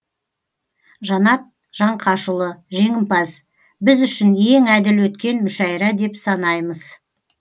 жанат жаңқашұлы жеңімпаз біз үшін ең әділ өткен мүшәйра деп санаймыз